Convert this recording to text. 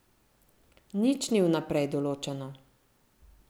Nič ni vnaprej določeno.